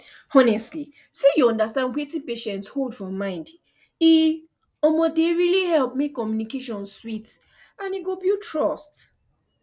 honestly say you understand wetin patient hold for mind e um dey really help make communication sweet and e go build trust